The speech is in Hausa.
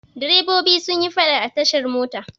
Direbobi sun yi faɗa a tashar mota.